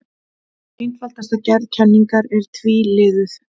Einfaldasta gerð kenningar er tvíliðuð.